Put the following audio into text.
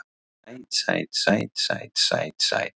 Sæt sæt sæt sæt sæt sæt.